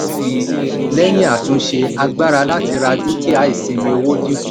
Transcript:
lẹ́yìn àtúnṣe agbára láti ra dúkìá ìsinmi owó dínkù.